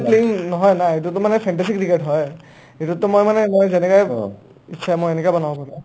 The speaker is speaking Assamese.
original playing নহয় না এইটো মানে fantasy cricket হয় এইটো মই মানে মই যেনেকা ইচ্ছা মই সেনেকা বনাব পাৰো